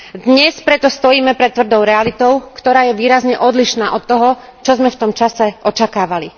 Dnes preto stojíme pred tvrdou realitou, ktorá je výrazne odlišná od toho, čo sme v tom čase očakávali.